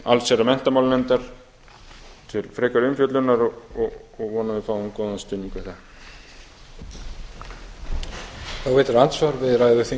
til allsherjar og menntamálanefndar til frekari umfjöllunar og vona að við fáum góðan stuðning við það